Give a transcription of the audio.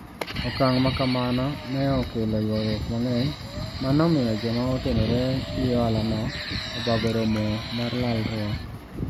Okang ' ma kamano ne okelo ywaruok mang'eny ma nomiyo joma otenore gi ohalano obago romo mar lalruok.